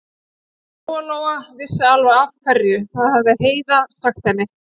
Og Lóa-Lóa vissi alveg af hverju, það hafði Heiða sagt henni.